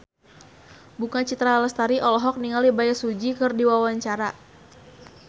Bunga Citra Lestari olohok ningali Bae Su Ji keur diwawancara